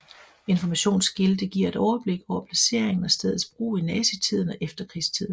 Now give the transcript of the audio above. Informationsskilte giver et overblik over placering og stedets brug i nazitiden og efterkrigstiden